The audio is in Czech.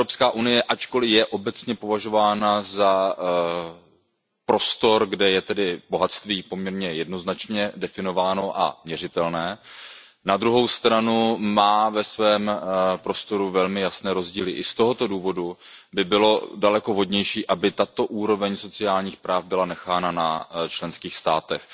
EU, ačkoli je obecně považována za prostor, kde je bohatství poměrně jednoznačně definováno a měřitelné, má na druhou stranu ve svém prostoru velmi jasné rozdíly a i z tohoto důvodu by bylo daleko vhodnější, aby tato úroveň sociálních práv byla nechána na členských státech.